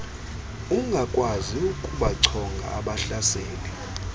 ungakwazi ukubachonga abahlaseli